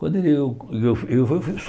Quando eu eu eu fui